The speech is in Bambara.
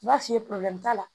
N b'a f'i ye t'a la